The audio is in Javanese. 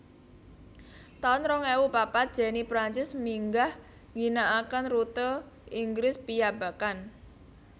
taun rong ewu papat Jenny Prancis minggah ngginakaken rute Inggris piyambakan